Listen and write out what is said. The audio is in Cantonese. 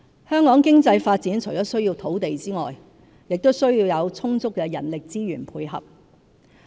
香港經濟發展除了需要土地外，也須有充足的人力資源配合。